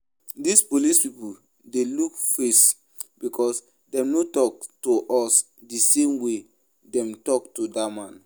Dis police people dey look face because dem no talk to us the same way dem talk to dat man